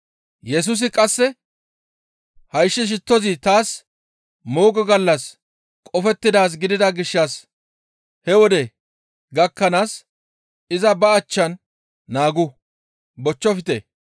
Yesusi qasse, «Hayssi shittozi taas moogo gallassas qofettidaaz gidida gishshas he wode gakkanaas iza ba achchan naagu, bochchofte.